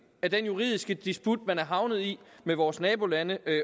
af den juridiske disput man er havnet i med vores nabolande